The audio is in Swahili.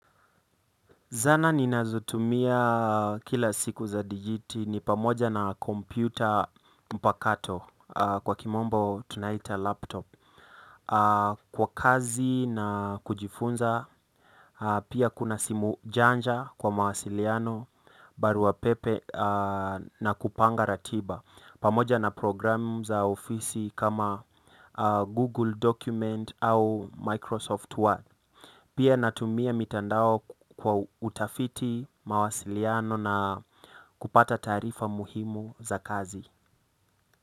Zana ninazotumia kila siku za dijiti ni pamoja na kompyuta mpakato kwa kimombo tunaita laptop kwa kazi na kujifunza, pia kuna simu janja kwa mawasiliano, barua pepe na kupanga ratiba pamoja na program za ofisi kama Google Document au Microsoft Word. Pia natumia mitandao kwa utafiti mawasiliano na kupata taarifa muhimu za kazi.